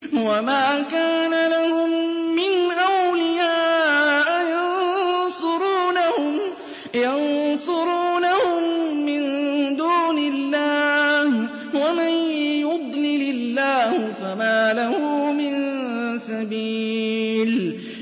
وَمَا كَانَ لَهُم مِّنْ أَوْلِيَاءَ يَنصُرُونَهُم مِّن دُونِ اللَّهِ ۗ وَمَن يُضْلِلِ اللَّهُ فَمَا لَهُ مِن سَبِيلٍ